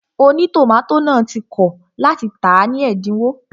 Ònítòmátò náà ti kọ̀ láti tàá ní ẹ̀dínwó